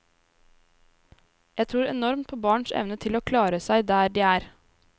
Jeg tror enormt på barns evne til å klare seg der de er.